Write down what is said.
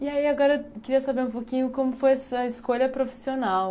E aí agora eu queria saber um pouquinho como foi a sua escolha profissional.